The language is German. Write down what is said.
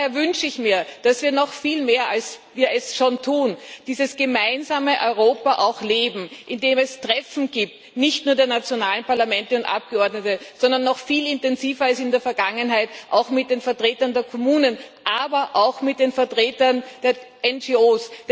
Daher wünsche ich mir, dass wir noch viel mehr, als wir es schon tun dieses gemeinsame Europa auch leben, indem es Treffen gibt, und zwar nicht nur der nationalen Parlamente und Abgeordneten, sondern noch viel intensiver als in der Vergangenheit auch mit den Vertretern der Kommunen, aber auch mit den Vertretern der NGOs.